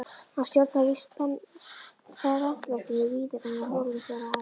Hann stjórnar víst prentverkinu víðar en á Hólum, svaraði Ari.